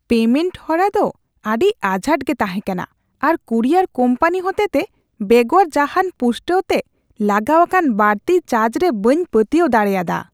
Payment ᱦᱚᱨᱟ ᱫᱚ ᱟᱹᱰᱤ ᱟᱡᱷᱟᱴ ᱜᱮ ᱛᱟᱸᱦᱮ ᱠᱟᱱᱟ ᱟᱨ ᱠᱩᱨᱤᱭᱟᱨ ᱠᱳᱢᱯᱟᱱᱤ ᱦᱚᱛᱮᱛᱮ ᱵᱮᱜᱚᱨ ᱡᱟᱦᱟᱱ ᱯᱩᱥᱴᱟᱹᱣ ᱛᱮ ᱞᱟᱜᱟᱣ ᱟᱠᱟᱱ ᱵᱟᱹᱲᱛᱤ ᱪᱟᱨᱡ ᱨᱮ ᱵᱟᱹᱧ ᱯᱟᱹᱛᱭᱟᱹᱣ ᱫᱟᱲᱮᱭᱟᱫᱟ ᱾